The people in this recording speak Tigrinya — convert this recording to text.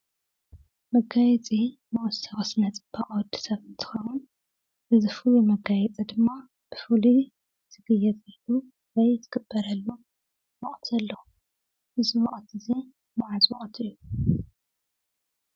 መጋየፂ መወሰኺ ስነ ፅባቐ ወዲ ሰብ እንትኸውን እዚ ፍሉይ መጋየፂ ድማ ብፉሉይ ዝጋየፀሉ ወይ ድማ ዝግበረሉ ወቕቲ ኣለዎ። እዚ ወቕቲ እዚ ማዕፆ ቐትሪ እዩ።